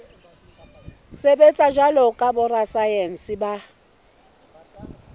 sebetsa jwalo ka borasaense ba